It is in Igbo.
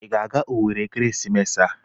Ị ga-aga owerri n'ekeresimesi a?